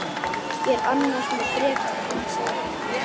Ég er annars með bréf til þín sagði hún.